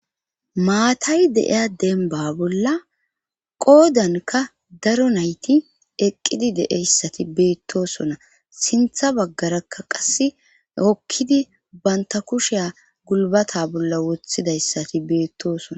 Maatay deiya denba bolla qoodanka daro nayti eqqidi deeyssati beettosona sintha baggarakka qass okkidi banta kushiya gulbata bolla wothidayssati beettosona